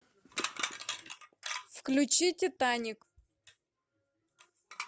включи титаник